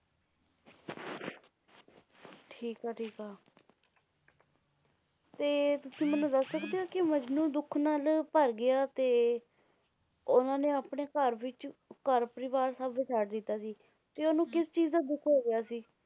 ਠੀਕ ਆ ਠੀਕ ਆ ਤੇ ਤੁਸੀ ਮੈਨੂੰ ਦੱਸ ਸਕਦੇ ਹੋ ਕੇ ਮਜਨੂੰ ਦੁੱਖ ਨਾਲ ਭਰ ਗਿਆ ਤੇ ਉਹਨਾਂ ਨੇ ਆਪਣੇ ਘਰ ਵਿੱਚ ਘਰ ਪਰਿਵਾਰ ਸਭ ਛੱਡ ਦਿੱਤਾ ਸੀ ਤੇ ਉਹਨੂੰ ਕਿਸ ਚੀਜ ਦਾ ਦੁੱਖ ਹੋ ਗਿਆ ਸੀ।